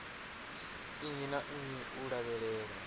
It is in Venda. nnyi na nnyi u lavhelelwa